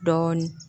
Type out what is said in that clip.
Dɔɔnin